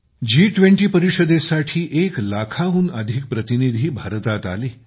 जी20 परिषदेसाठी एक लाखाहून अधिक प्रतिनिधी भारतात आले